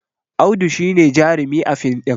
Audu shi ne jarumi a fin ɗin